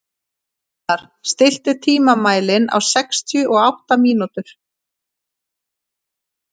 Hólmar, stilltu tímamælinn á sextíu og átta mínútur.